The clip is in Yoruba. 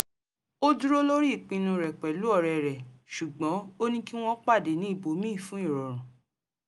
ó dúró lórí ìpinnu rẹ̀ pẹ̀lú ọ̀rẹ́ rè ṣugbọ́n ó ní kí wọ́n pàdé ní íbòmíì fún ìrọrùn